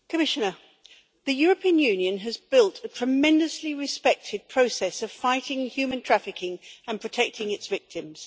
Madam President, Commissioner, the European Union has built a tremendously respected process of fighting human trafficking and protecting its victims.